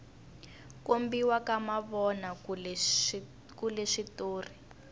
kombiwa ka mavona kule switori